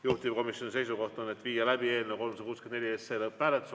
Juhtivkomisjoni seisukoht on, et tuleb viia läbi eelnõu 364 lõpphääletus.